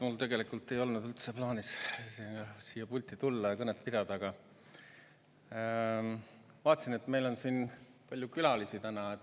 Mul tegelikult ei olnud üldse plaanis pulti tulla ja kõnet pidada, aga vaatasin, et meil on siin palju külalisi täna.